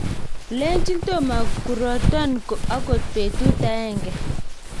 leni tomo kuroton akot betut agenge